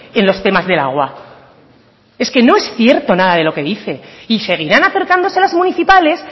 en los temas del agua es que no es cierto nada de lo que dice y seguirán acercándose las municipales